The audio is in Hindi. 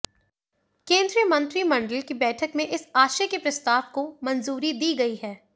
केंद्रीय मंत्रिमंडल की बैठक में इस आशय के प्रस्ताव को मंजूरी दी गई